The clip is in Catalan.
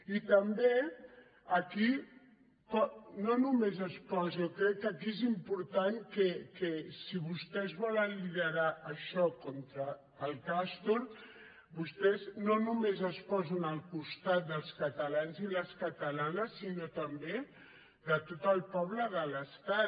i també aquí no només es pot jo crec que aquí és important que si vostès volen liderar això contra el castor vostès no només es posen al costat dels catalans i les catalanes sinó també de tot el poble de l’estat